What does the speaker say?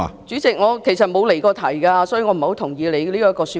主席，其實我不曾離題，所以我不太認同你的說法。